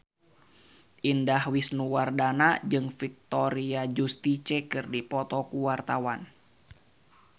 Indah Wisnuwardana jeung Victoria Justice keur dipoto ku wartawan